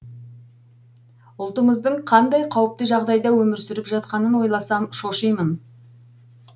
ұлтымыздың қандай қауіпті жағдайда өмір сүріп жатқанын ойласам шошимын